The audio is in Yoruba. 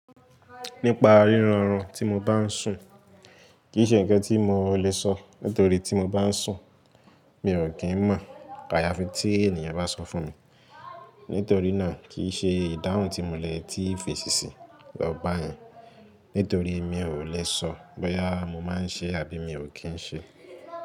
Nípa ríran rún tí mo bá ń sùn, kì í ṣe ǹkan tí mo lè sọ nítorí tí mo bá ń sùn, mi ò kí ń mọ̀. Ayafi tí ènìyàn bá sọ fún mi. Nítorí náà, kì í ṣe ìdáhùn tí mo lè tí fèṣí sì lọ bá yen, nítorí mi ò lè sọ bóyá mo máa ń ṣe àbí mi ò kí ń ṣe.